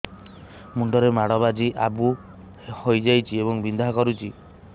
ମୁଣ୍ଡ ରେ ମାଡ ବାଜି ଆବୁ ହଇଯାଇଛି ଏବଂ ବିନ୍ଧା କରୁଛି